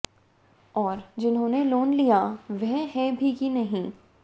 और जिन्होंने लोन लिया वह है भी की नहीं